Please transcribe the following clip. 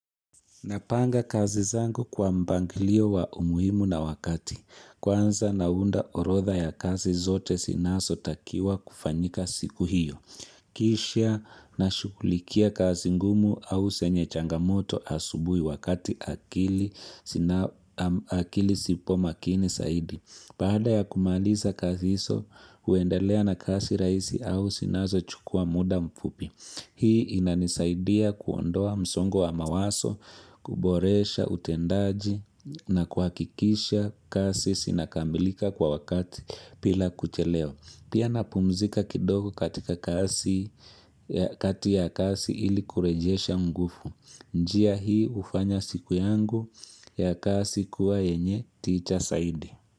Napanga kazi zangu kwa mpangilio wa umuhimu na wakati. Kwanza naunda orodha ya kazi zote sinazo takiwa kufanyika siku hiyo. Kisha nashughulikia kazi ngumu au zenye changamoto asubuhi wakati akili sipo makini saidi. Baada ya kumaliza kazi hizo, huendelea na kazi rahisi au zinazochukua muda mfupi. Hii inanisaidia kuondoa msongo wa mawazo, kuboresha utendaji na kuhakikisha kazi zinakamilika kwa wakatibila kuchelewa. Pia napumzika kidogo katika kazi ya kazi ili kurejesha nguvu. Njia hii hufanya siku yangu ya kazi kuwa yenye tija zaidi.